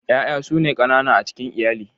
Yaya su ne kanana a cikin iyali.